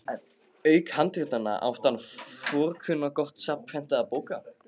Auk handritanna átti hann forkunnargott safn prentaðra bóka.